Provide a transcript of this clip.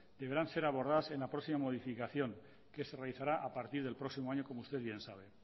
deberán ser abordadas en la próxima modificación que se realizará a partir del próximo año como usted bien sabe